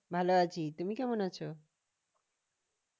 ভালো আছি তুমি কেমন আছো?